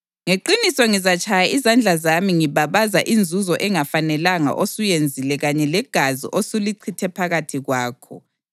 Ngeqiniso ngizatshaya izandla zami ngibabaza inzuzo engafanelanga osuyenzile kanye legazi osulichithe phakathi kwakho.